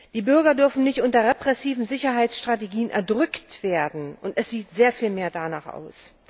Die Bürger dürfen nicht unter repressiven Sicherheitsstrategien erdrückt werden es sieht aber sehr danach aus.